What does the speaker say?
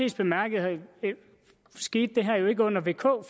bemærket skete det her jo ikke under vk